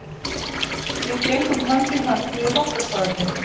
Við gengum hönd í hönd niður Bankastræti.